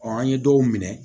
an ye dɔw minɛ